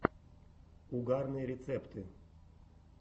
угарные рецепты